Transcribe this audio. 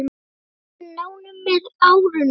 Við urðum nánir með árunum.